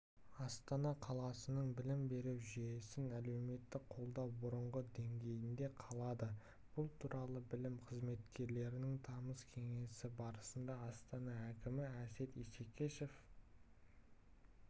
астана қаласының білім беру жүйесін әлеуметтік қолдау бұрынғы деңгейінде қалады бұл туралы білім қызметкерлерінің тамыз кеңесі барысында астана әкімі әсет исекешев